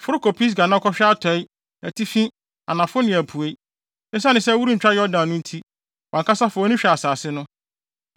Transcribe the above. Foro kɔ Pisga na hwɛ atɔe, atifi, anafo ne apuei. Esiane sɛ, worentwa Yordan no nti, wʼankasa fa wʼani hwɛ asase no.